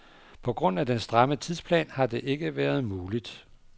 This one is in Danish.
På grund af den stramme tidsplan har det ikke været muligt.